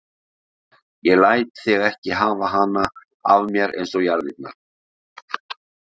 Ég læt þig ekki hafa hana af mér eins og jarðirnar.